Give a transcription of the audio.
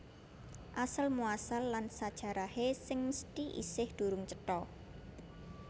Asal muasal lan sajarahé sing mesthi isih durung cetha